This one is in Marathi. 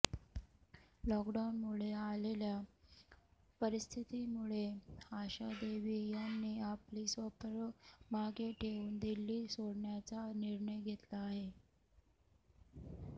लॉकडाऊनमुळे आलेल्या परिस्थितीमुळे आशा देवी यांनी आपली स्वप्न मागे ठेऊन दिल्ली सोडण्याचा निर्णय घेतला आहे